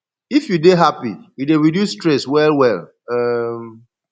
if you dey happy e dey reduce stress well well um